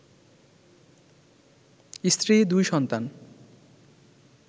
স্ত্রী, দুই সন্তান